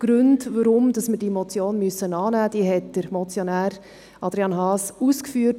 Die Gründe, weshalb wir diese Motion annehmen müssen, hat der Motionär Adrian Haas ausgeführt.